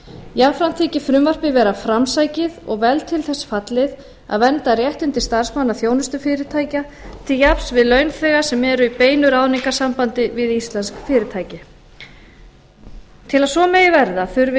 jafnframt þykir frumvarpið vera framsækið og vel til þess fallið að vernda réttindi starfsmanna þjónustufyrirtækja til jafns við launþega sem eru í beinu ráðningarsambandi við íslensk fyrirtæki til að svo megi verða þurfi vinnumálastofnun